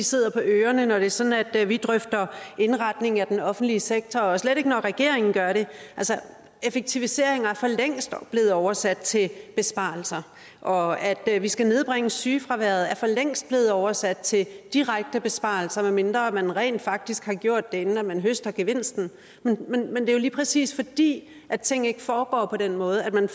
sidder på ørerne når det er sådan at at vi drøfter indretningen af den offentlige sektor og slet ikke når regeringen gør det effektiviseringer er for længst blevet oversat til besparelser og at vi skal nedbringe sygefraværet er for længst blevet oversat til direkte besparelser medmindre man rent faktisk har gjort det inden man høster gevinsten men det er jo lige præcis fordi ting ikke foregår på den måde at man